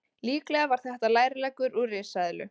Líklega var þetta lærleggur úr risaeðlu.